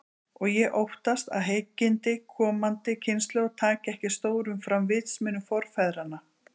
Og ég óttast, að hyggindi komandi kynslóða taki ekki stórum fram vitsmunum forfeðranna.